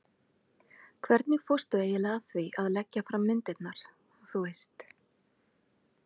hvernig fórstu eiginlega að því að leggja fram myndirnar, þú veist.